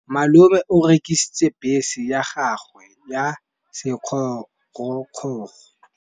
Malome o rekisitse bese ya gagwe ya sekgorokgoro.